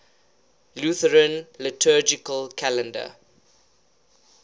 lutheran liturgical calendar